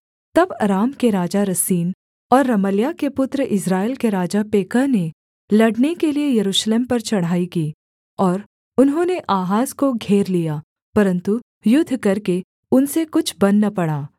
तब अराम के राजा रसीन और रमल्याह के पुत्र इस्राएल के राजा पेकह ने लड़ने के लिये यरूशलेम पर चढ़ाई की और उन्होंने आहाज को घेर लिया परन्तु युद्ध करके उनसे कुछ बन न पड़ा